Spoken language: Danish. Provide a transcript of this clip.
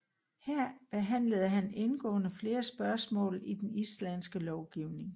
Her behandlede han indgående flere spørgsmål i den islandske lovgivning